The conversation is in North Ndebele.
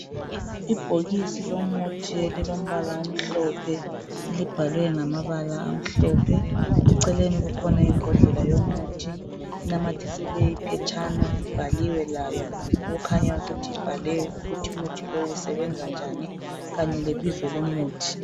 Ibhokisi lomuthi elilompala omhlophe elibhalwe ngamabala amhlophe eceleni kukhona imbodlela yomuthi inamathisele iphetshana ibhaliwe lawo okukhanya ukuthi ibhalwe ukuthi umuthi lo usebenza njani kanye lebizo lomuthi.